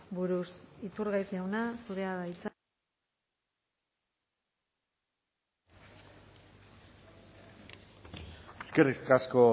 buruz iturgaiz jauna zurea da hitza eskerrik asko